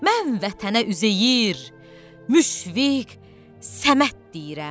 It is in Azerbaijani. Mən Vətənə Üzeyir, Müşfiq, Səməd deyirəm.